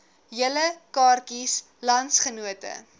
julle kaartjies landsgenote